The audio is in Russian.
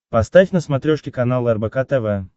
поставь на смотрешке канал рбк тв